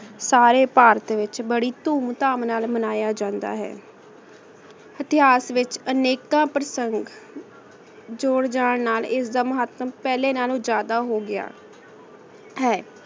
ਸਾਰੇ ਭਾਰਤ ਵਿਚ ਬਾਰੀ ਧੂਮ ਧਾਮ ਨਾਲ ਮਨਾਯਾ ਜਾਂਦਾ ਹੈ ਏਤਿਹਾਸ ਵਿਚਹ ਅਨੇਕਾਂ ਪਰ੍ਸਾਨਿਤ ਜੁਰ ਜਾਨ ਨਾਲ ਇਸਦਾ ਮਹਿਤਮ ਪਹਲੇ ਨਾਲੋਂ ਜਿਆਦਾ ਹੋਗਯਾ ਹੈ